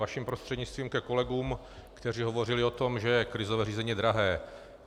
Vašim prostřednictvím ke kolegům, kteří hovořili o tom, že krizové řízení je drahé.